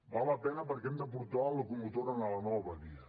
val la pena perquè hem de portar la locomotora a la nova via